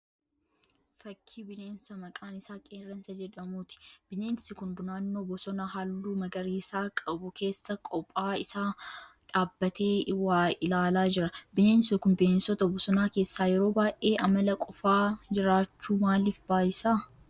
Fakkii bineensa maqaan isaa Qerreensa jedhamuuti. Bineensi kun naannoo bosona halluu magariisa qabu keessa qophaa isaa dhaabbatee waa ilaalaa jira. Bineensi kun bineensota bosonaa keessaa yeroo baay'ee amala qofaa jiraachuu maaliif baayisa?